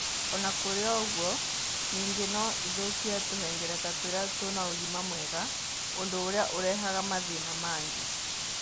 O na kũrĩ ũguo, ningĩ no ĩthũkie tũhengereta tũria tũrĩ na ũgima mwega, ũndũ ũrĩa ũrehaga mathĩna mangĩ.